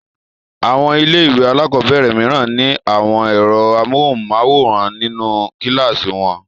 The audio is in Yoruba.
Àwọn ilé-ìwé alákọ̀ọ́bẹ̀rẹ̀ mìíràn ní àwọn ẹ̀rọ amóhùmáwòhán nínú kíláàsì wọn.